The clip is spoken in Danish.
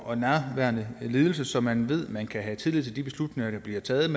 og nærværende ledelse som man ved man kan have tillid til de beslutninger der bliver taget